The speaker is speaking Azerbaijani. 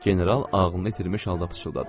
General ağlını itirmiş halda pıçıldadı.